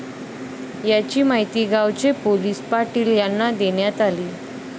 याची माहिती गावचे पोलीस पाटील यांना देण्यात आली.